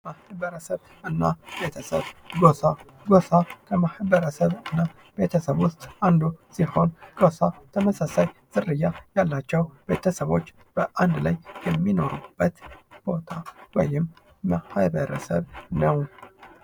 ማህበረሰብ እና ቤተሰብ፦ ጎሳ፦ ጎሳ ከማህበረሰብ እና ቤተሰብ ውስጥ አንዱ ሲሆን ጎሳ ተመሳሳይ ዝርያ ያላቸው ቤተሰቦች በአንድ ላይ የሚኖሩበት ቦታ ወይም ማህበረሰብ ነው።